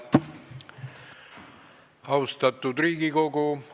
Austatud Riigikogu!